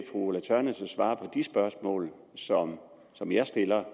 ulla tørnæs at svare på de spørgsmål som som jeg stiller